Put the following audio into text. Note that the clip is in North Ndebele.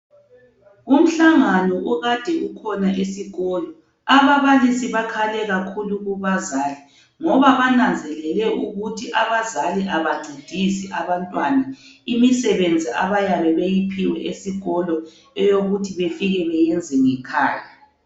Umhlangano okade ukhona esikolo ababalisi bakhale kakhulu kubazali ngoba bananzelele ukuthi abazali abancedisi abantwana imisebenzi abayabe beyiphiwe esikolo eyokuthi bafike beyenze ngekhaya.